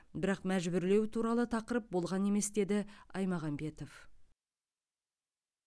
бірақ мәжбүрлеу туралы тақырып болған емес деді аймағамбетов